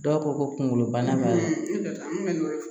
Dɔw ko ko kunkolobana b'a la